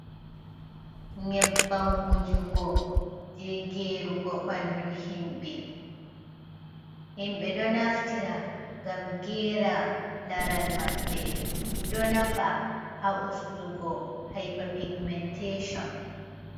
Nyebbam wujugo je gerugo bandu himbe. Himbé ɗo naftira ngam gera laral maɓɓe do nafa ha ustugo hiper pigumentesôn.